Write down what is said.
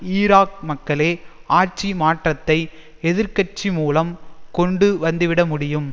Iraq மக்களே ஆட்சி மாற்றத்தை எதிர் கட்சி மூலம் கொண்டு வந்துவிட முடியும்